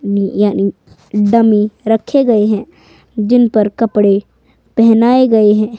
नी यानी डमी रखे गए हैं जिन पर कपड़े पहेनाए गए हैं।